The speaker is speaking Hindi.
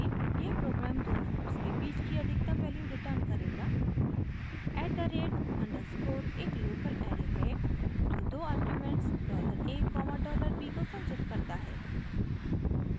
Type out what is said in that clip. यह प्रोग्राम दो नंबर्स के बीच की अधिकतम वैल्यू रिटर्न करेगा